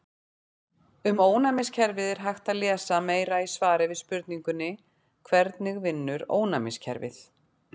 Um ónæmiskerfið er hægt að lesa meira í svari við spurningunni Hvernig vinnur ónæmiskerfið?